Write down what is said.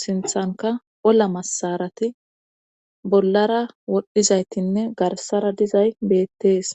sinthanka ola masarati bollara wodhdhizaytinne garsara dizay beettees